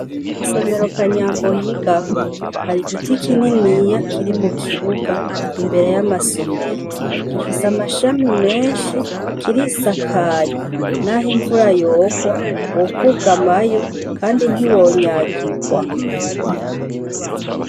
Isomero kanyambo yigako, hari igiti kinini kiri mukibuga imbere y'amasomero ,gifise amashami menshi kirisakaye naho imvura yogwa wokugamayo kandi ntiwonyagigwa.